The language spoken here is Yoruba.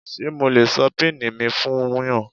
Ṣé mo lè sọ pini mi fún yàn?